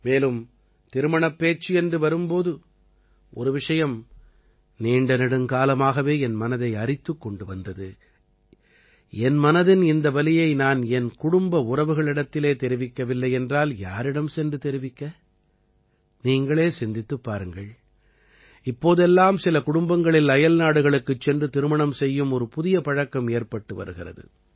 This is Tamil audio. மேலும் திருமணப் பேச்சு என்று வரும் போது ஒரு விஷயம் நீண்டநெடுங்காலமாகவே என் மனதை அரித்துக் கொண்டு வந்தது என் மனதின் இந்த வலியை நான் என் குடும்ப உறவுகளிடத்திலே தெரிவிக்கவில்லை என்றால் யாரிடம் சென்று தெரிவிக்க நீங்களே சிந்தித்துப் பாருங்கள் இப்போதெல்லாம் சில குடும்பங்களில் அயல்நாடுகளுக்குச் சென்று திருமணம் செய்யும் ஒரு புதிய பழக்கம் ஏற்பட்டு வருகிறது